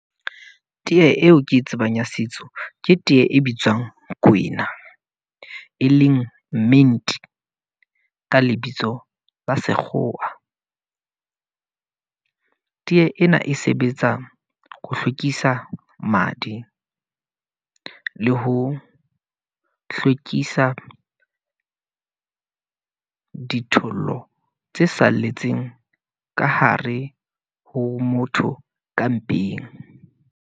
Tee eo ke e tsebang ya setso, ke tee e bitswang kwena. E leng mint, ka lebitso la sekgowa. Tee ena e sebetsa ho hlwekisa madi le ho hlwekisa dithollo tse salletseng ka hare ho motho ka mpeng.